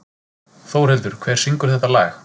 Þórhildur, hver syngur þetta lag?